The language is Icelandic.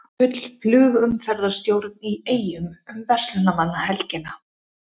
Full flugumferðarstjórn í Eyjum um verslunarmannahelgina